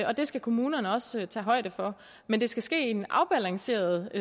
og det skal kommunerne også tage højde for men det skal ske i en afbalanceret